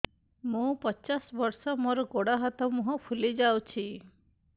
ମୁ ପଚାଶ ବର୍ଷ ମୋର ଗୋଡ ହାତ ମୁହଁ ଫୁଲି ଯାଉଛି